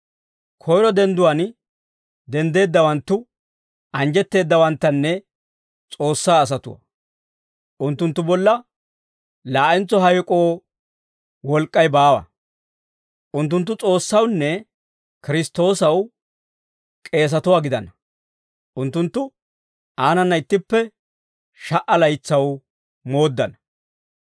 Koyro dendduwaan denddeeddawanttu anjjetteeddawanttanne S'oossaa asatuwaa. Unttunttu bolla laa'entso hayk'oo wolk'k'ay baawa. Unttunttu S'oossawunne Kiristtoosaw k'eesatuwaa gidana; unttunttu aanana ittippe sha"a laytsaw mooddana.